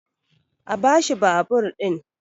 a bashi babur ɗin!